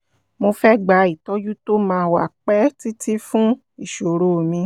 mo fẹ́ gba ìtọ́jú tó máa wà pẹ́ títí fún ìṣòro mi